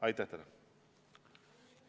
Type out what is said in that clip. Aitäh teile!